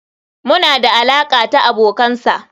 muna da alaƙa ta abokansa.